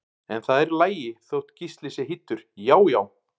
En það er í lagi þótt Gísli sé hýddur, já já!